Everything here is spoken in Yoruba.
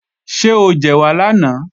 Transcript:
Ṣé o jẹ̀wà lánàá?